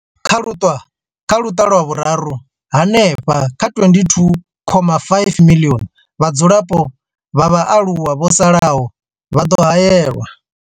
Kha luṱa lwa Vhuraru, hanefha kha 22.5 miḽioni ya vhadzulapo vha vhaaluwa vho salaho vha ḓo haelwa.